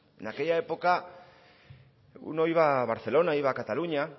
en aquella época uno iba a barcelona iba a cataluña